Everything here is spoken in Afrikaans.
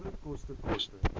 waarde koste koste